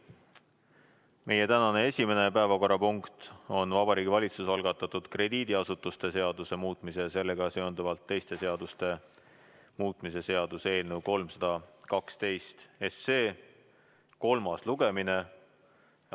Meie tänane esimene päevakorrapunkt on Vabariigi Valitsuse algatatud krediidiasutuste seaduse muutmise ja sellega seonduvalt teiste seaduste muutmise seaduse eelnõu 312 kolmas lugemine.